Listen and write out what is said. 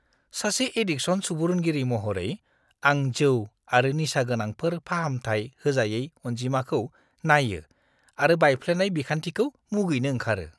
सासे एडिकसन सुबुरुनगिरि महरै, आं जौ आरो निसागोनांफोर फाहामथाय होजायै अनजिमाखौ नायो आरो बायफ्लेनाय बिखान्थिखौ मुगैनो ओंखारो।